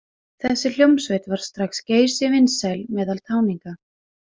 Þessi hljómsveit varð strax geysivinsæl meðal táninga.